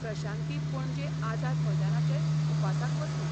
प्रशांती पणजे आझाद मैदानाचेर उपासाक बसलें.